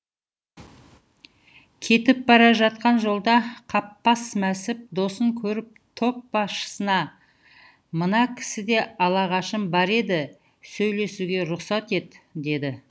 кетіп бара жатқан жолда қаппас мәсіп досын көріп топ басшысына мына кісіде алашағым бар еді сөйлесуге рұқсат ет деді